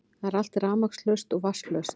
Það er allt rafmagnslaust og vatnslaust